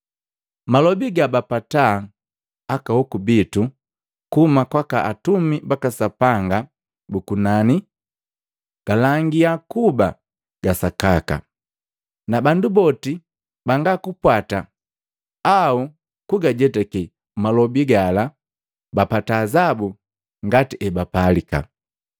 Malobi gabapata aka hoku bitu kuhuma kwaka atumi baka Sapanga bu kunani galangiya kuba ga sakaka, na bandu boti banga kupwata au kugajetake malobi gala bapata azabu ngati ebapalika.